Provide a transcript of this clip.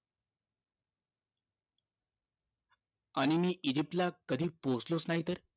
आणि मी इजिप्त ला कधी पोहोचलोच नाही तर